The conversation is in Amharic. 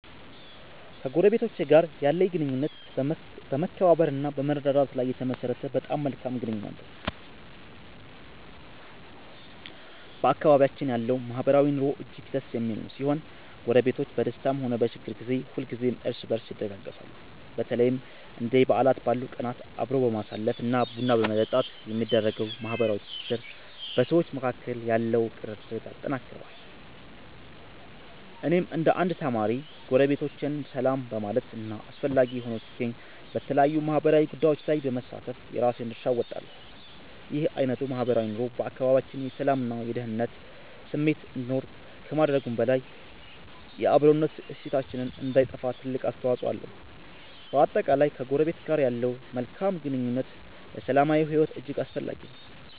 ከጎረቤቶቼ ጋር ያለኝ ግንኙነት በመከባበር እና በመረዳዳት ላይ የተመሠረተ በጣም መልካም ግንኙነት ነው። በአካባቢያችን ያለው ማህበራዊ ኑሮ እጅግ ደስ የሚል ሲሆን፣ ጎረቤቶች በደስታም ሆነ በችግር ጊዜ ሁልጊዜም እርስ በርስ ይደጋገፋሉ። በተለይም እንደ በዓላት ባሉ ቀናት አብሮ በማሳለፍ እና ቡና በመጠጣት የሚደረገው ማህበራዊ ትስስር በሰዎች መካከል ያለውን ቅርርብ ያጠነክረዋል። እኔም እንደ አንድ ተማሪ፣ ጎረቤቶቼን ሰላም በማለት እና አስፈላጊ ሆኖ ሲገኝ በተለያዩ ማህበራዊ ጉዳዮች ላይ በመሳተፍ የራሴን ድርሻ እወጣለሁ። ይህ አይነቱ ማህበራዊ ኑሮ በአካባቢያችን የሰላም እና የደኅንነት ስሜት እንዲኖር ከማድረጉም በላይ፣ የአብሮነት እሴታችን እንዳይጠፋ ትልቅ አስተዋፅኦ አለው። በአጠቃላይ፣ ከጎረቤት ጋር ያለው መልካም ግንኙነት ለሰላማዊ ሕይወት እጅግ አስፈላጊ ነው።